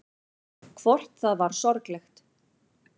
Hvort það var sorglegt.